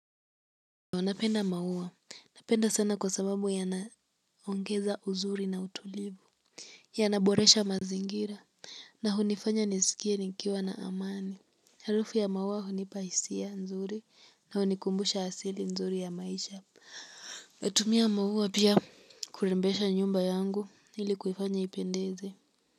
Unapenda maua, napenda sana kwa sababu yanaongeza uzuri na utulivu. Yanaboresha mazingira na hunifanya nisikie nikiwa na amani. Harufu ya maua hunipa hisia nzuri na hunikumbusha asili nzuri ya maisha natumia maua pia kurembesha nyumba yangu ilikuifanya ipendeze.